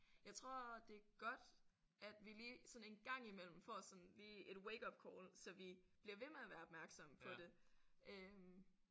Jeg tror det er godt at vi lige sådan en gang i mellem får sådan lige et wakeupcall så vi bliver ved med at være opmærksomme på det øh